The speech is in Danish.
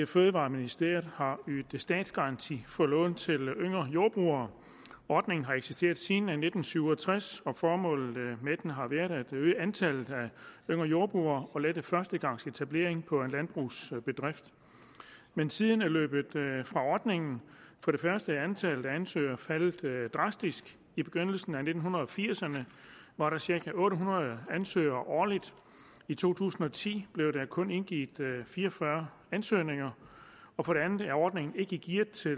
fødevareministeriet har ydet statsgaranti for lån til yngre jordbrugere ordningen har eksisteret siden nitten syv og tres og formålet med den har været at øge antallet af yngre jordbrugere og lette førstegangsetablering på en landbrugsbedrift men tiden er løbet fra ordningen for det første er antallet af ansøgere faldet drastisk i begyndelsen af nitten firserne var der cirka otte hundrede ansøgere årligt i to tusind og ti blev der kun indgivet fire og fyrre ansøgninger og for det andet er ordningen ikke gearet til